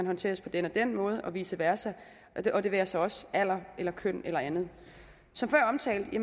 håndteres på den og den måde og vice versa og det være sig også alder køn eller andet som før omtalt